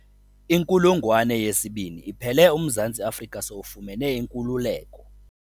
Inkulungwane yesibini iphele uMzantsi Afrika sowufumene inkululeko.